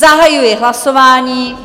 Zahajuji hlasování.